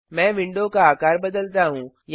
मैं विंडो का आकार बदलता हूँ